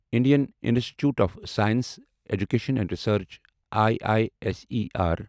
Indian Institute of Science Education and Research I I S E R